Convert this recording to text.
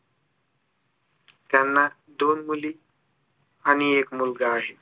त्यांना दोन मुली आणि एक मुलगा आहे